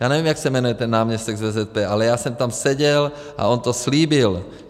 Já nevím, jak se jmenuje ten náměstek z VZP, ale já jsem tam seděl a on to slíbil.